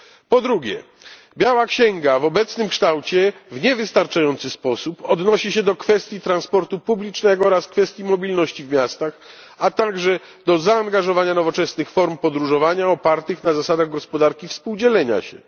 Po drugie, biała księga w obecnym kształcie w niewystarczający sposób odnosi się do kwestii transportu publicznego oraz kwestii mobilności w miastach, a także do zaangażowania nowoczesnych form podróżowania opartych na zasadach gospodarki współdzielenia się.